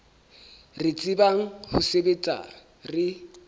re tsebang ho sebetsa re